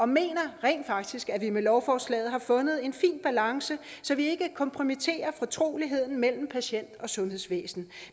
mener rent faktisk at vi med lovforslaget har fundet en fin balance så vi ikke kompromitterer fortroligheden mellem patient og sundhedsvæsen